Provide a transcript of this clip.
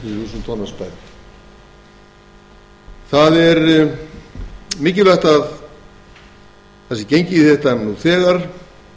til áttatíu þúsund tonna skipum mikilvægt er að gengið sé í þetta nú þegar